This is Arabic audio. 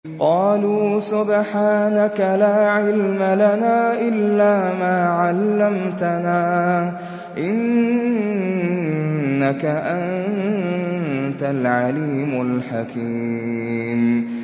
قَالُوا سُبْحَانَكَ لَا عِلْمَ لَنَا إِلَّا مَا عَلَّمْتَنَا ۖ إِنَّكَ أَنتَ الْعَلِيمُ الْحَكِيمُ